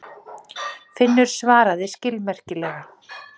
Finnur svaraði skilmerkilega.